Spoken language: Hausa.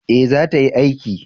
eh za ta yi aiki